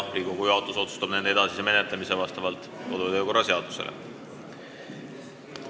Riigikogu juhatus otsustab nende edasise menetlemise Riigikogu kodu- ja töökorra seaduse alusel.